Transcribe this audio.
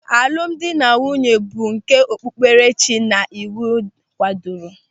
Alụmdi na nwunye bụ nke okpupkerechi na iwu kwadoro.